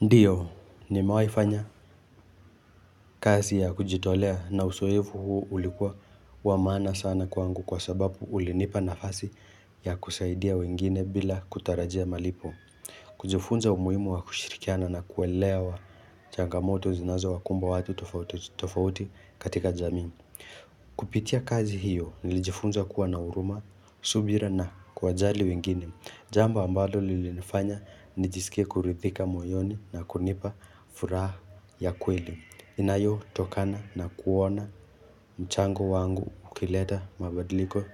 Ndiyo, nimewahi fanya kazi ya kujitolea na uzoefu huu ulikuwa wa maana sana kwangu kwa sababu ulinipa nafasi ya kusaidia wengine bila kutarajia malipo. Kujifunza umuhimu wa kushirikiana na kuelewa changamoto zinazo wakumba watu tofauti tofauti katika jamii. Kupitia kazi hiyo nilijifunza kuwa na huruma, subira na kuwajali wengine, jambo ambalo lilinifanya nijisike kurithika moyoni na kunipa furaha ya kweli, inayo tokana na kuona mchango wangu ukileta mabadiliko